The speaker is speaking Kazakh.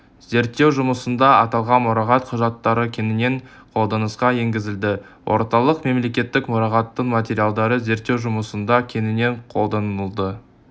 зерттеу жұмысында аталған мұрағат құжаттары кеңінен қолданысқа енгізілді орталық мемлекеттік мұрағаттың материалдары зерттеу жұмысында кеңінен қолданылды